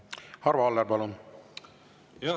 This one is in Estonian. Arvo Aller, palun!